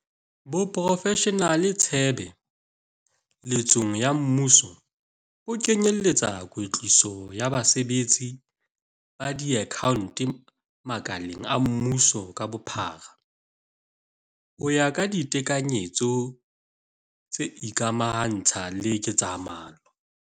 Boprofeshenale tshebe letsong ya mmuso bo kenye etsa kwetliso ya basebetsi ba diakhaonto makaleng a mmuso ka bophara ho ya ka ditekanyetso tse ikamaha ntsha le ketsamolao.